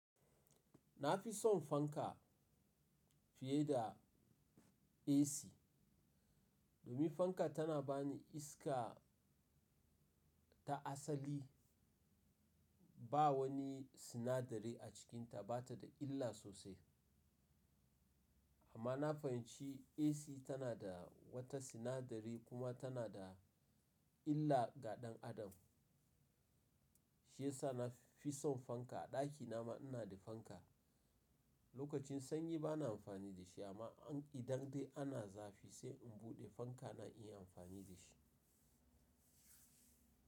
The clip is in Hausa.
Na fi son fanka fiye da AC, domin fanka tana ba ni iska ta asali. Ba wani sinadari a cikinta, ba ta da illa sosai. Amma na fahimci AC tana da wata sinadari kuma tana da illa ga ɗan adam. Shi yasa na fi son fanka. A ɗakina ma ina da fanka. Lokacin sanyi ba na amfani da shi ba amma idan dai ana zafi sai in buɗe fanka na in yi amfani da shi.